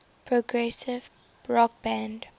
progressive rock band